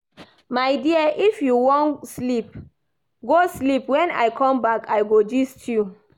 My dear if you wan sleep go sleep wen I come back I go gist you